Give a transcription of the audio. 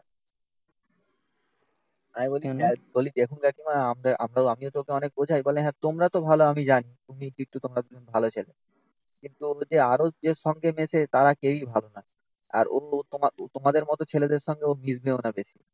আমি বলি দেখুন কাকিমা. আমরাও আমিও ওকে অনেক বোঝাই. বলে হ্যাঁ তোমরা তো ভালো আমি জানি বিট্টু তোমরা দুজন ভালো ছেলে. কিন্তু ওর যে আরো যে সঙ্গে মেতে তারা কেউই ভালো না. আর অন্য তোমার তোমাদের মতো ছেলেদের সঙ্গে ও মিশবে না বেশি.